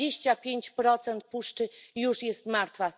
Dwadzieścia pięć procent puszczy już jest martwe.